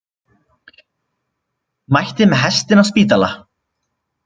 Mætti með hestinn á spítala